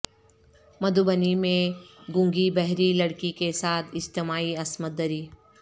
مدھوبنی میں گونگی بہری لڑکی کے ساتھ اجتماعی عصمت دری